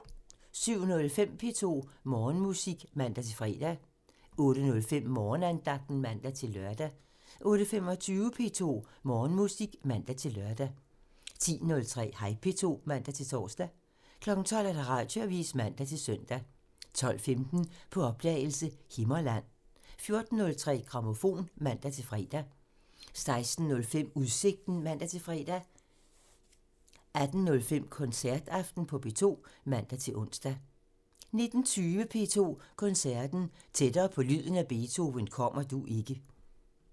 07:05: P2 Morgenmusik (man-fre) 08:05: Morgenandagten (man-lør) 08:25: P2 Morgenmusik (man-lør) 10:03: Hej P2 (man-tor) 12:00: Radioavisen (man-søn) 12:15: På opdagelse – Himmerland 14:03: Grammofon (man-fre) 16:05: Udsigten (man-fre) 18:05: Koncertaften på P2 (man-ons) 19:20: P2 Koncerten – Tættere på lyden af Beethoven kommer du ikke!